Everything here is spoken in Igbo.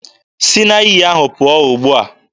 Si na iyi ahụ pụọ ugbua!